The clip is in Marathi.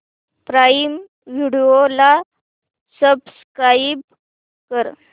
प्राईम व्हिडिओ ला सबस्क्राईब कर